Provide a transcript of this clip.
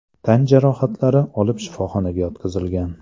tan jarohatlari olib shifoxonaga yotqizilgan.